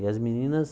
E as meninas